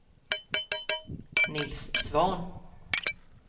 Nils Svahn